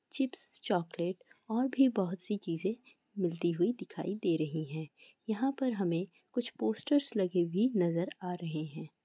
Chips chocolate और भी बहुत सी चीजे मिलती हुई दिखाई दे रही है| यहां पर हमें कुछ पोस्टर लगे हुए नजर आ रहे हैं।